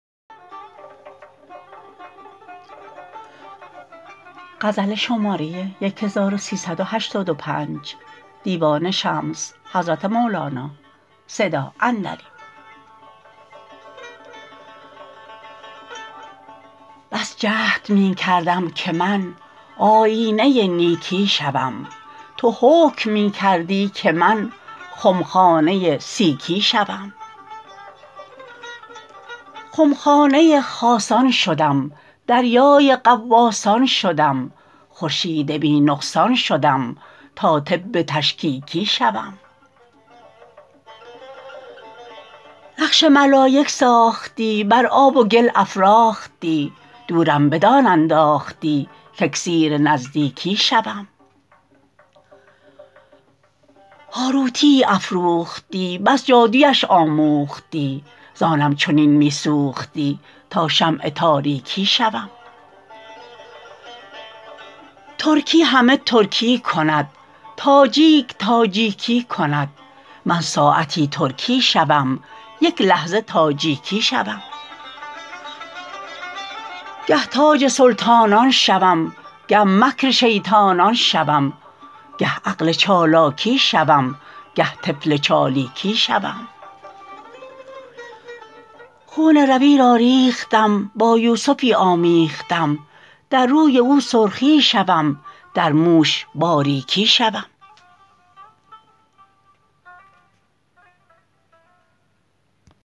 بس جهد می کردم که من آیینه نیکی شوم تو حکم می کردی که من خمخانه سیکی شوم خمخانه خاصان شدم دریای غواصان شدم خورشید بی نقصان شدم تا طب تشکیکی شوم نقش ملایک ساختی بر آب و گل افراختی دورم بدان انداختی کاکسیر نزدیکی شوم هاروتیی افروختی پس جادویش آموختی زآنم چنین می سوختی تا شمع تاریکی شوم ترکی همه ترکی کند تاجیک تاجیکی کند من ساعتی ترکی شوم یک لحظه تاجیکی شوم گه تاج سلطانان شوم گه مکر شیطانان شوم گه عقل چالاکی شوم گه طفل چالیکی شوم خون روی را ریختم با یوسفی آمیختم در روی او سرخی شوم در موش باریکی شوم